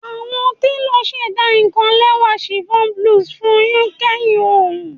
Awọn telo ṣẹda kan lẹwa chiffon blouse fun u kẹhin ooru